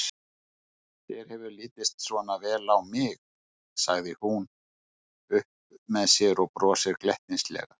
Þér hefur litist svona vel á mig, segir hún upp með sér og brosir glettnislega.